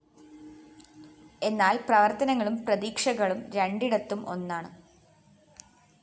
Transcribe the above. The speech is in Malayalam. എന്നാല്‍ പ്രവര്‍ത്തനങ്ങളും പ്രതീക്ഷകളും രണ്ടിടത്തും ഒന്നാണ്